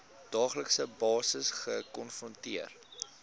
daaglikse basis gekonfronteer